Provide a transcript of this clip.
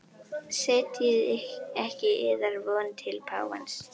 Setjið ekki yðar von til páfans.